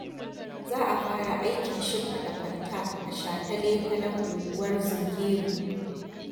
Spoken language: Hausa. za a fara aikin shimfiɗa kwalta a shataletalen unguwar Zungeru.